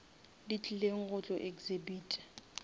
di tlileng go tlo exhibita